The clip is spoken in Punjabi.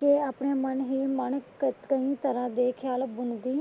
ਕੇ ਆਪਣੇ ਮੰਨ ਹੀ ਮੰਨ . ਕਯੀ ਤਰ੍ਹਾਂ ਦੇ ਖ੍ਯਾਲੱਪ ਬੁਣਦੀ।